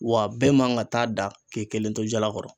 Wa bɛɛ man ka taa da k'i kelen to jala kɔrɔ